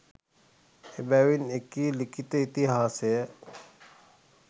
එබැවින් එකී ලිඛිත ඉතිහාසය